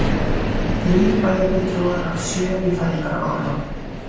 Þrír bæjarfulltrúar af sjö í fæðingarorlofi